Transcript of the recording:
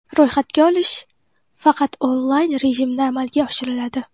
Ro‘yxatga olish faqat onlayn rejimda amalga oshiriladi.